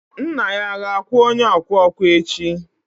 nna ya ga-akwụ onye ọkwa ọkwa echi?